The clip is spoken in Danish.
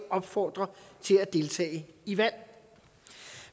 opfordre til at deltage i valg